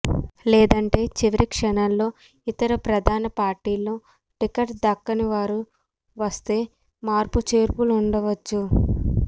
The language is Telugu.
లేదంటే చివరిక్షణంలో ఇతర ప్రధాన పార్టీల్లో టికెట్ దక్కనివారు వస్తే మార్పుచేర్పులుండచ్చు